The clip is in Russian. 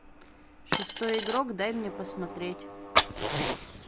шестой игрок дай мне посмотреть